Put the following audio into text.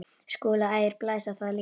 SKÚLI: Ægir blæs á það líka.